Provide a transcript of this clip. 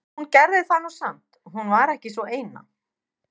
En hún gerði það nú samt, hún var ekki sú eina.